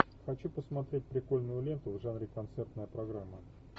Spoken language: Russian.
хочу посмотреть прикольную ленту в жанре концертная программа